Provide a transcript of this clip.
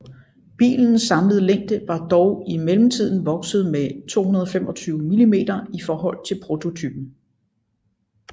Bilens samlede længde var dog i mellemtiden vokset med 225 mm i forhold til prototypen